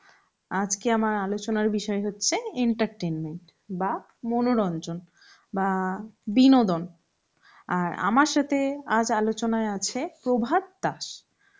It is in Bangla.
আজকে আমার আলোচনার বিষয় হচ্ছে entertainment বা মনোরঞ্জন বা বিনোদন, আর আমার সথে আজ আলোচনায় আছে প্রভাত দাস